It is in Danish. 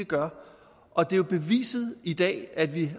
vi gør og det er jo beviset i dag at vi